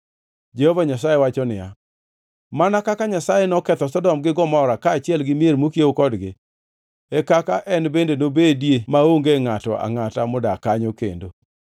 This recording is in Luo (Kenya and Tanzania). Jehova Nyasaye wacho niya, “Mana kaka Nyasaye noketho Sodom gi Gomora, kaachiel gi mier mokiewo kodgi, e kaka en bende nobedi maonge ngʼato angʼata, modak kanyo kendo.